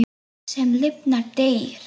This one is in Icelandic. Allt, sem lifnar, deyr.